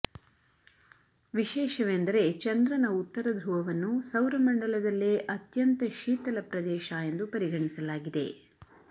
ವಿಶೇಷವೆಂದರೆ ಚಂದ್ರನ ಉತ್ತರ ಧೃವವನ್ನು ಸೌರಮಂಡಲದಲ್ಲೇ ಅತ್ಯಂತ ಶೀತಲ ಪ್ರದೇಶ ಎಂದು ಪರಿಗಣಿಸಲಾಗಿದೆ